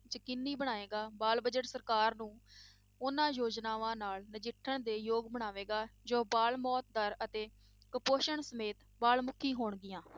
ਯਕੀਨੀ ਬਣਾਏਗਾ, ਬਾਲ budget ਸਰਕਾਰ ਨੂੰ ਉਹਨਾਂ ਯੋਜਨਾਵਾਂ ਨਾਲ ਨਜਿੱਠਣ ਦੇ ਯੋਗ ਬਣਾਵੇਗਾ ਜੋ ਬਾਲ ਮੌਤ ਦਰ ਅਤੇ ਕੁਪੌਸ਼ਣ ਸਮੇਤ ਬਾਲ ਮੁੱਖੀ ਹੋਣਗੀਆਂ।